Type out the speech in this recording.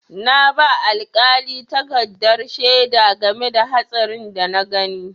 Na ba alƙali takardar shaida game da hatsarin da na gani.